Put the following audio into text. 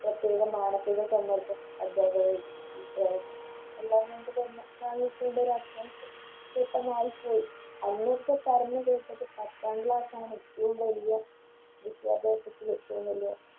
പ്രത്യേക മാനസിക സമ്മർദ്ദം അദ്ധ്യാപകരുടെ വീട്ടുകാരുടെ എല്ലാം കൊണ്ട് തന്നെ ആയിപ്പോയി അന്നൊക്കെ പറഞ്ഞു കേട്ടത് പത്താം Class ആണ് ഏറ്റോം വലിയ വിദ്യാഭ്യാസത്തിലെറ്റോം വലിയ